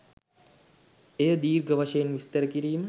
එය දීර්ඝ වශයෙන් විස්තර කිරීම